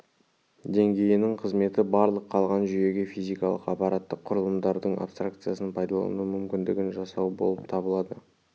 деңгейінің қызметі барлық қалған жүйеге физикалық аппараттық құрылымдардың абстракциясын пайдалану мүмкіндігін жасау болып табылады